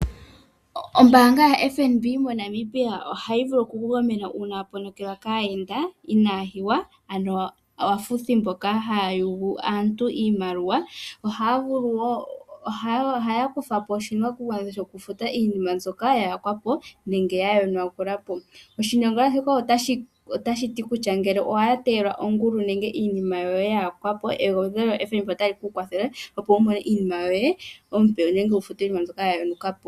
Ombanga yaFNB moNamibia ohayi vulu oku kugamena una waponokelwa kaayenda inaya hiwa ano aafuthi mboka haya yugu aantu iimaliwa. Ohaya vulu wo oku kuthapo oshinakugwanitha shokufuta iinima mbyoka ya yakwa po nenge ya yonagulwa po. Oshinyangadhalwa shika otashi ti ngele owatelwa ongulu nenge iinima yoye ya yakwapo egwedhelo lyo FNB otali vulu oku kwathele opo wu mone iinima yoye iipe nenge yekufutile iinima yoye mbyoka ya yonuka po.